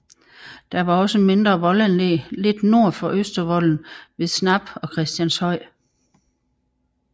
Der var også mindre voldanlæg lidt nord for Østervolden ved Snap og Christianshøj